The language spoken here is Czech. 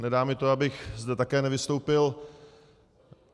Nedá mi to, abych zde také nevystoupil.